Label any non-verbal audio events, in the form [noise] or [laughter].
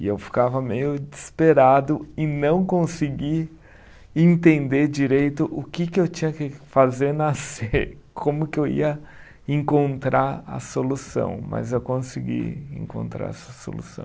E eu ficava meio desesperado em não conseguir entender direito o que que eu tinha que fazer na Cê, [laughs] como que eu ia encontrar a solução, mas eu consegui encontrar essa solução.